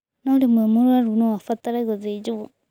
Na rĩmwe mũrũaru no abatare gũthĩnjwo